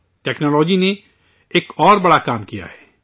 technology نے ایک اور بڑا کام کیا ہے